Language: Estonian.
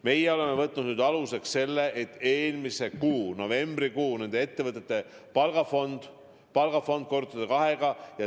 Meie oleme aluseks võtnud nende ettevõtete eelmise kuu, novembrikuu palgafondi ja korrutanud selle kahega.